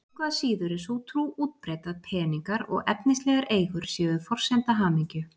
Engu að síður er sú trú útbreidd að peningar og efnislegar eigur séu forsenda hamingju.